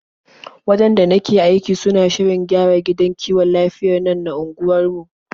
Wajen da nake aiki suna shirin gyara gidan kiwon lafiyar nan na unguwarmu.